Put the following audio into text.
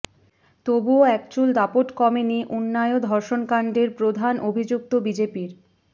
তবুও একচুল দাপট কমেনি উন্নাও ধর্ষণকাণ্ডের প্রধান অভিযুক্ত বিজেপির